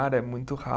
É muito